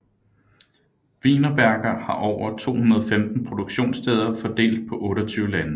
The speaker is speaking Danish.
Wienerberger har over 215 produktionssteder fordelt på 28 lande